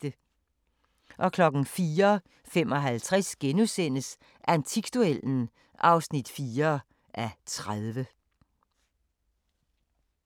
04:55: Antikduellen (4:30)*